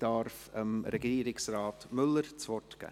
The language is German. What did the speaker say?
Ich darf Regierungsrat Müller das Wort geben.